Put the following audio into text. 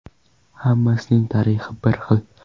Hammasining tarixi bir xil.